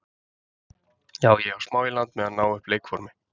Já ég á smá í land með að ná upp leikformi.